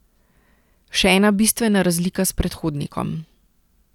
Še ena bistvena razlika s predhodnikom.